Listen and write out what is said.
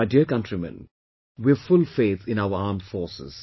My dear countrymen, we have full faith in our armed forces